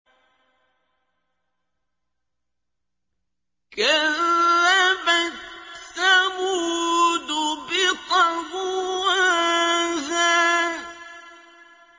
كَذَّبَتْ ثَمُودُ بِطَغْوَاهَا